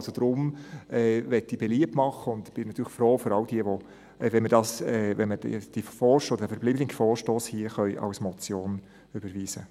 Deshalb möchte ich beliebt machen – und ich bin natürlich um alle froh –, wenn wir den verbleibenden Vorstoss als Motion überweisen können.